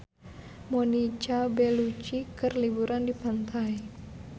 Monica Belluci keur liburan di pantai